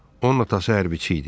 Onun atası hərbçi idi.